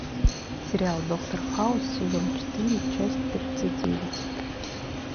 сериал доктор хаус сезон четыре часть тридцать девять